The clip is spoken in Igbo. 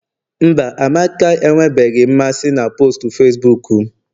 mba, amaka enwebeghị mmasị na postu Facibuku m